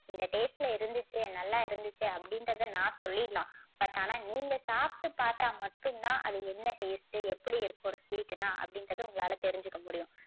இந்த taste ல இருந்துச்சு நல்லா இருந்துச்சு அப்படின்றத நான் சொல்லிடலாம். but ஆனா நீங்க சாப்பிட்டு பாத்தா மட்டும் தான் அது என்ன taste எப்படி இருக்கும் ஒரு sweet னா அப்படின்றது உங்களால தெரிஞ்சுக்க முடியும்.